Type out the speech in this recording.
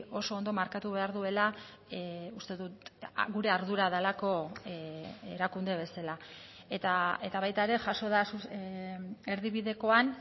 oso ondo markatu behar duela uste dut gure ardura delako erakunde bezala eta baita ere jaso da erdibidekoan